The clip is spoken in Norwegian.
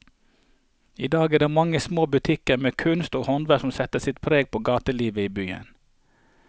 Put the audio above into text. I dag er det de mange små butikkene med kunst og håndverk som setter sitt preg på gatelivet i byen.